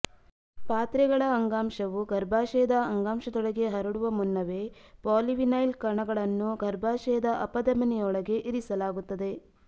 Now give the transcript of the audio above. ಪಾತ್ರೆಗಳ ಅಂಗಾಂಶವು ಗರ್ಭಾಶಯದ ಅಂಗಾಂಶದೊಳಗೆ ಹರಡುವ ಮುನ್ನವೇ ಪಾಲಿವಿನೈಲ್ ಕಣಗಳನ್ನು ಗರ್ಭಾಶಯದ ಅಪಧಮನಿಯೊಳಗೆ ಇರಿಸಲಾಗುತ್ತದೆ